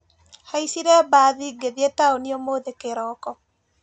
Haicire mbathi ngĩthi taũni ũmũthĩ kĩroko.